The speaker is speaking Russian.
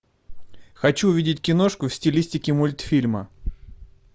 хочу увидеть киношку в стилистике мультфильма